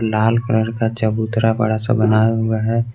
लाल colour का चबूतरा बड़ा सा बना हुआ है।